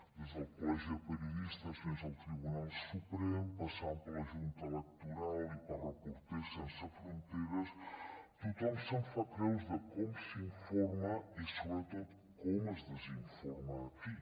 des del col·legi de periodistes fins al tribunal suprem passant per la junta electoral i per reporters sense fronteres tothom se’n fa creus de com s’informa i sobretot de com es desinforma aquí